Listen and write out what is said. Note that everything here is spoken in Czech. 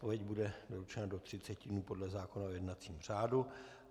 Odpověď bude doručena do 30 dnů podle zákona o jednacím řádu.